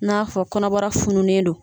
N'a fɔ kɔnɔbara fununen don